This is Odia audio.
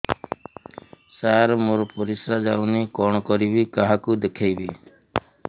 ସାର ମୋର ପରିସ୍ରା ଯାଉନି କଣ କରିବି କାହାକୁ ଦେଖେଇବି